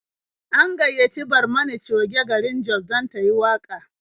An gayyaci Barmani Coge garin Jos dan tayi waƙa.